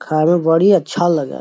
खाय में बड़ी अच्छा लगय।